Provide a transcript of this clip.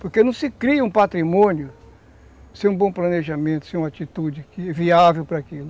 Porque não se cria um patrimônio sem um bom planejamento, sem uma atitude viável para aquilo.